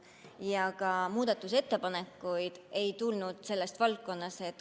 Ja ka muudatusettepanekuid ei tulnud sellest valdkonnast.